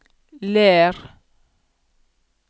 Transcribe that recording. Ler